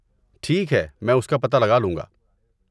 ٹھیک ہے، میں اس کا پتہ لگا لوں گا۔